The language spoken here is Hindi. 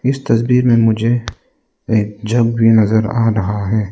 इस तस्वीर में मुझे एक जग नजर आ रहा है।